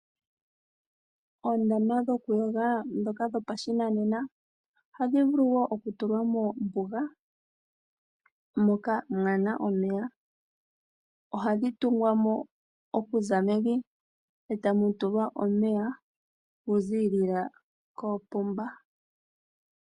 Oondama dhokuyoga ndhoka dhopashinanena ohadhi vulu okutulwa moombuga , moka mwaana omeya , ohadhi tulwa mo okuza mevi etamu tulwa omeya gaza koopomba.